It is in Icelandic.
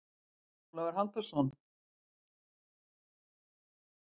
Ólafur Halldórsson.